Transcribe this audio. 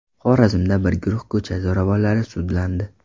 Xorazmda bir guruh ko‘cha zo‘ravonlari sudlandi.